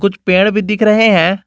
कुछ पेड़ भी दिख रहे हैं।